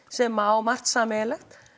sem á margt sameiginlegt